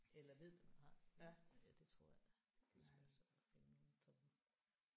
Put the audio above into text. Eller ved hvad man har ja det tror jeg det skulle være svært at finde nogen som